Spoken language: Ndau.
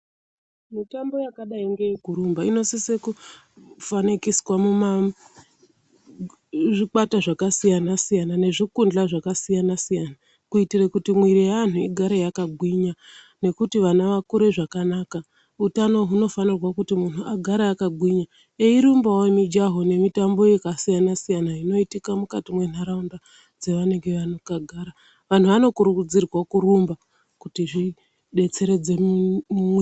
Mitombo yakadai ngeyekurumba inosise kufanikiswa muma zvikwata zvakasiyana siyana nezvikundla zvakasiyana siyana kuitire kuti miiri yeanhu igare yakagwinya ,nekuti ana vakure zvakanaka. Hutano hunofanirwa kuti munhu agare akagwinya eyirumbawo mijawo nemitambo yakasiyana siyana inoitika mukati mentaraunda dzavanenge vakagara vanokurudzirwa kurumba kuti zvidetseredze mumuiri.